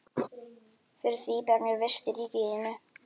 Fyrir því ber mér vist í ríki þínu.